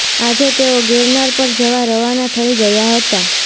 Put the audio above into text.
આજે તેઓ ગિરનાર પર જવા રવાના થઈ ગયા હતા